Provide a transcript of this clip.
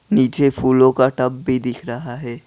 नीचे फूलों का टब भी दिख रहा है।